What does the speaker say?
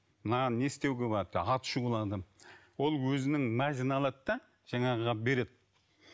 мынаған не істеуге болады аты шулы адам ол өзінің мазін алады да жаңағыға береді